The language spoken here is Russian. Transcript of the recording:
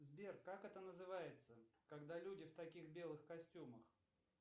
сбер как это называется когда люди в таких белых костюмах